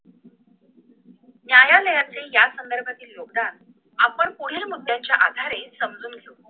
न्यायालयातील या संदर्भातील योगदान आपण पुढील मुद्याच्या आधारे समजून घेऊ